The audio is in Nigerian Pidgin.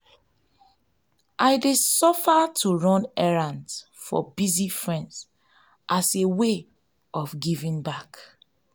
i dey offer to run errands for busy friends as a way of giving back.